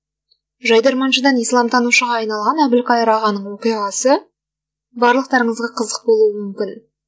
жайдарманшыдан исламтанушыға айналған әбілқайыр ағаның оқиғасы барлықтарыңызға қызық болуы мүмкін